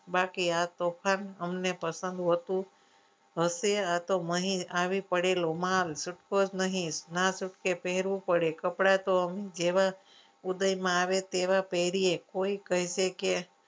બાકી આ તોફાન અમને પસંદ હોતું હશે આ તો અહીં આવી પડેલો માલ છૂટકો જ નહીં ના છૂટકે પહેરું પડે કપડાં તો જેવા ઉદયમાં આવે તેવા પહેરી કોઈ કહેશે કે